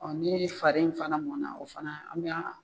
Ɔ n'i fari fana mɔn na o fana an bɛ